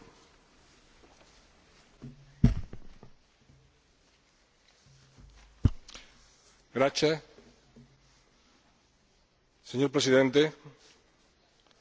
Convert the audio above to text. Señor Presidente, quisiera iniciar mi intervención reiterando el firme compromiso de la Presidencia en ejercicio del Consejo